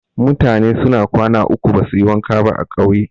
Mutane suna kwana uku basuyi wanka ba a ƙauye.